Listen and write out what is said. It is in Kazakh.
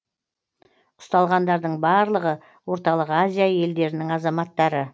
ұсталғандардың барлығы орталық азия елдерінің азаматтары